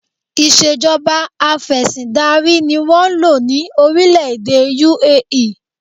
Ìṣèjọba afẹ̀sìndarí ni wọ́n ń lò ní orílẹ̀-èdè UAE